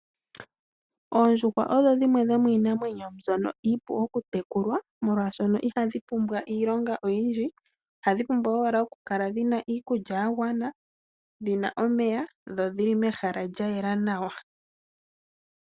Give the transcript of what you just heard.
Oondjuhwa odho dhimwe dho miinamwenyo mbyono iipu okutekulwa molwaashono ihadhi pumbwa Iilonga oyindji ohadhi pumbwa owala oku kala dhina iikulya yagwana , dhina omeya dho dhili mehala lyayela nawa.